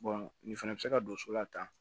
nin fɛnɛ bɛ se ka don so la tan